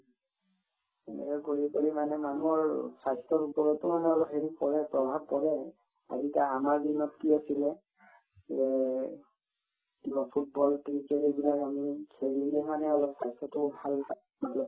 এনেকুৱা কৰি কৰি মানে মানুহৰ স্বাস্থ্যৰ ওপৰতো মানে অলপ হেৰি কৰে প্ৰভাৱ পৰে আৰু আৰু আমাৰ দিনত কি আছিলে যে কিবা football, cricket এইবিলাক আমি খেলি কিনে মানে অলপ স্বাস্থ্যতো matlab